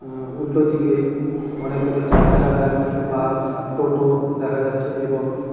আ উল্টোদিকে অনেকগুলো চার চাকা গাড়ি বাস টোটো দেখা যাচ্ছে এবং--